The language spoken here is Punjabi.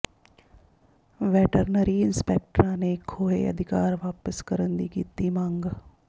ਵੈਟਰਨਰੀ ਇੰਸਪੈਕਟਰਾਂ ਨੇ ਖੋਹੇ ਅਧਿਕਾਰ ਵਾਪਸ ਕਰਨ ਦੀ ਕੀਤੀ ਮੰਗ